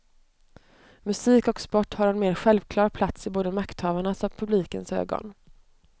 Musik och sport har en mer självklar plats i både makthavarnas och publikens ögon.